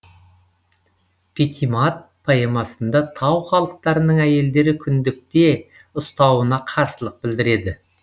патимат поэмасында тау халықтарының әйелдері күндікте ұстауына қарсылық білдіреді